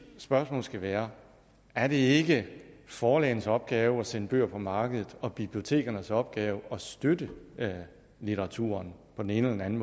spørgsmål skal være er det ikke forlagenes opgave at sende bøger på markedet og bibliotekernes opgave at støtte litteraturen på den ene eller den